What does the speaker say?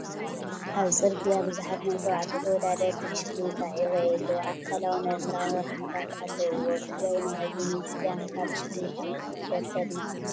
ኣብ ፅርግያ ብዙሓት ናይ ተባዕትዮ ተወዳደርቲ ብሽክሌታ ይራኣዩ ኣለው፡፡ ኣካላውን ኣእምሮኣውን ረብሓታት ኣለውዎ፡፡ ኣብ ትግራይ ናይ ኣየነይቲ ጋንታ ብሽክሌታ ተወዳደርቲ ኣድነቕቲ ኢኹም?